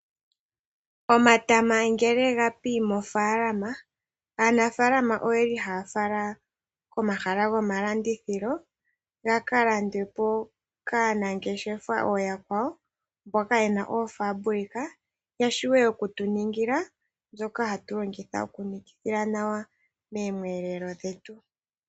Omatama ngele ga pi mofaalama, aanafaalama oye li haya fala komahala gomalandithilo, ga ka landwe po kaanangeshefa ooyakwawo mboka ye na oofambulika ya vule oku tu ningila mbyoka hatu longitha okunikithila nawa miiyelelwa yetu.